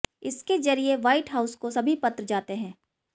इसके जरिए White House को सभी पत्र जाते हैं